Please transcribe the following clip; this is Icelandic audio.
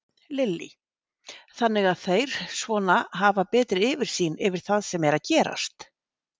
Lillý: Þannig að þeir svona hafa betri yfirsýn yfir það sem er að gerast?